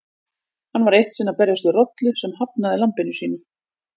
Hann var eitt sinn að berjast við rollu sem hafnaði lambinu sínu.